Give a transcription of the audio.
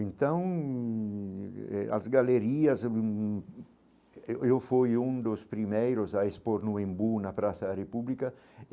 Então, eh as galerias hum, eu eu fui um dos primeiros a expor no Embu, na Praça da República.